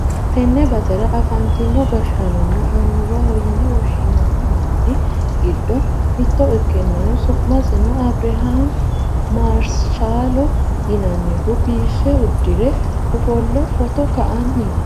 tenne basera afantino gashshaanonna annuwaho yine woshshinanni manni giddo mitto ikkinohu su'masino abirihaami maarshaalo yinannihu biife uddire ofolle footo ka'anni no.